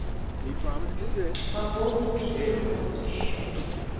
пополнить телефонный счет